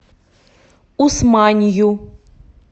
усманью